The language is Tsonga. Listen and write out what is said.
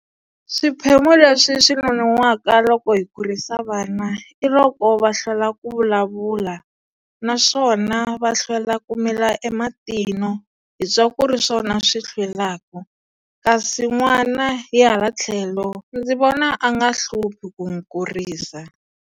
Swiphemu leswi nonohwaka loko hi kurisa vana, i loko va hlwela ku vulavula. Naswona va hlwela ku mila ematino. Hi twa ku ri swona swi hlwelaka. Kasi n'wana hi hala tlhelo, ndzi vona a nga hluphi ku n'wi kurisa.